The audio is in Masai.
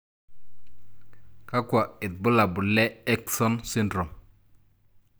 Kakwa ibulabul le Akesson syndrome?